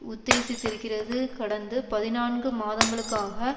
உத்தேசித்திருக்கிறது கடந்த பதினான்கு மாதங்களுக்காக